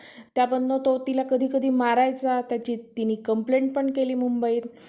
त्यामधनं तो कधी कधी तिला मारायचा त्या तिची तिने complaint पण केली मुंबईत